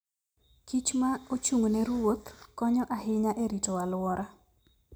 kich ma ochung' ne ruodh konyo ahinya e rito alwora.